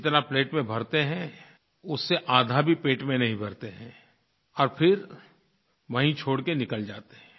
जितना प्लेट में भरते हैं उससे आधा भी पेट में नहीं भरते हैं और फिर वहीं छोड़ कर निकल जाते हैं